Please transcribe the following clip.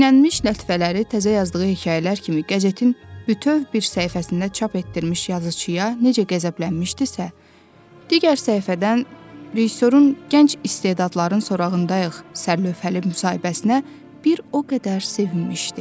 Çeynənmiş lətifələri təzə yazdığı hekayələr kimi qəzetin bütöv bir səhifəsində çap etdirmiş yazıçıya necə qəzəblənmişdisə, digər səhifədən rejissorun gənc istedadların sorağındayıq sərlövhəli müsahibəsinə bir o qədər sevinmişdi.